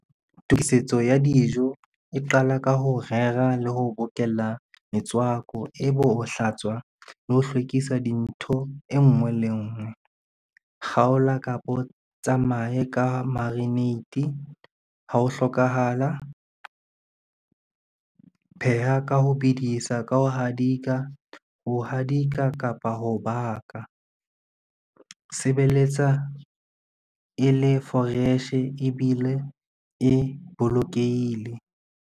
Tokisetso ya dijo e qala ka ho rera le ho bokella metswako, e be ho hlatswa le ho hlwekisa dintho e ngwe le ngwe. Kgaola kapo tsamaye ka marinate ha ho hlokahala. Pheha ka ho bedisa, ka ho hadika, ho hadika kapa, ho baka. Sebeletsa e le fresh-e ebile e bolokehile.